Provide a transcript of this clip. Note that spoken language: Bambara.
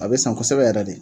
A bɛ san kɔsɛbɛ yɛrɛ de.